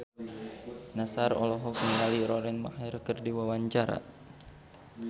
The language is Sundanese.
Nassar olohok ningali Lauren Maher keur diwawancara